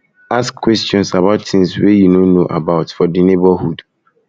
ask questions about things wey you no know about for di neighbourhood